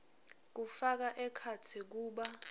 kufaka ekhatsi kuba